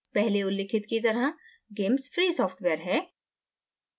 पहले उल्लिखित की तरह gamess free सॉफ्टवेयर है